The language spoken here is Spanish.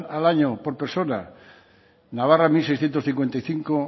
al año por persona navarra mil seiscientos cincuenta y cinco